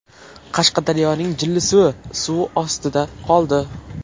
Qashqadaryoning Jillisuvi suv ostida qoldi .